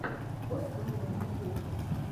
пост малон ютьюб